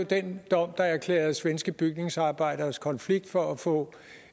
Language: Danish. den dom der erklærede svenske bygningsarbejderes konflikt for at få